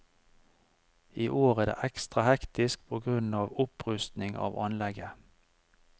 I år er det ekstra hektisk på grunn av opprusting av anlegget.